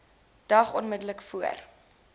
dag onmiddellik voor